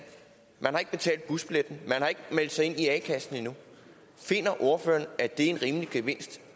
man har ikke betalt busbilletten man har ikke meldt sig ind i a kassen endnu finder ordføreren at det er en rimelig gevinst